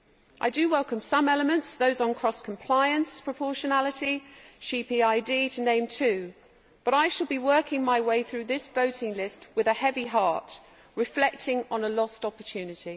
I do welcome some elements those on cross compliance, proportionality and sheep EID to name two but I shall be working my way through this voting list with a heavy heart, reflecting on a lost opportunity.